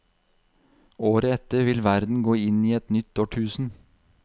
Året etter vil verden gå inn i et nytt årtusen.